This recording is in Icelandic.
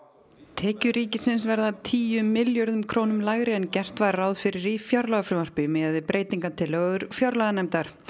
tekjur ríkisins verða tíu milljörðum króna lægri en gert var ráð fyrir í fjárlagafrumvarpi miðað við breytingatillögur fjárlaganefndar